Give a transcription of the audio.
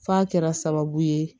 F'a kɛra sababu ye